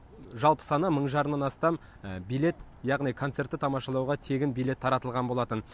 жалпы саны мың жарымнан астам билет яғни концертті тамашалауға тегін билет таратылған болатын